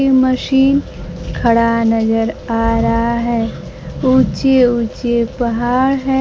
ये मशीन खड़ा नजर आ रहा है ऊंचे-ऊंचे पहाड़ है।